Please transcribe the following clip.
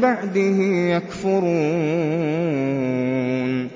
بَعْدِهِ يَكْفُرُونَ